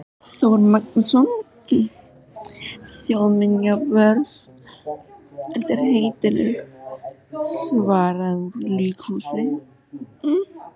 Þór Magnússon þjóðminjavörð undir heitinu Svarað úr líkhúsi.